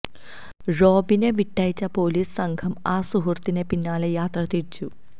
റോബിനെ വിട്ടയച്ച് പൊലീസ് സംഘം ആ സുഹൃത്തിന് പിന്നാലെ യാത്ര തിരിച്ചു